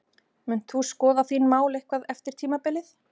Munt þú skoða þín mál eitthvað eftir tímabilið?